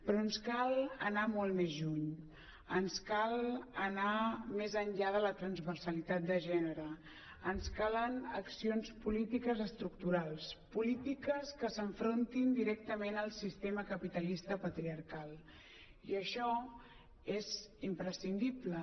però ens cal anar molt més lluny ens cal anar més enllà de la transversalitat de gènere ens calen accions polítiques estructurals polítiques que s’enfrontin directament al sistema capitalista patriarcal i això és imprescindible